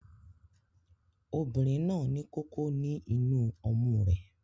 Obìnrin náà ní kókó ní inú ọmú rẹ